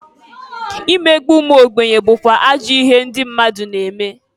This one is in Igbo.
Imegbu umuogbenye bukwa ajọ ihe ndị mmadụ na-eme.